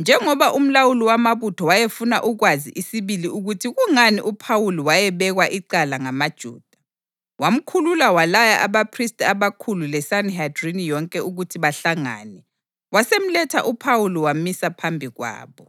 njengoba umlawuli wamabutho wayefuna ukwazi isibili ukuthi kungani uPhawuli wayebekwa icala ngamaJuda, wamkhulula walaya abaphristi abakhulu leSanihedrini yonke ukuthi bahlangane. Wasemletha uPhawuli wamisa phambi kwabo.